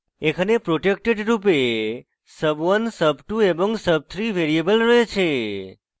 এখানে protected রূপে sub1 sub2 sub3 variable রয়েছে